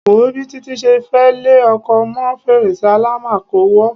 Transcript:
Wo o bi Títí se fe lẹ òkò mọ́ fèrèsé àlámakò wa